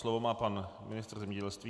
Slovo má pan ministr zemědělství.